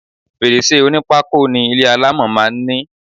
Fèrèsé onípákó ni ilé alámọ̀ máa ń ní.